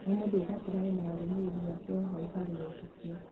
o mũndũ ũgakora ena arũmĩrĩri ake o hau harĩ etĩkia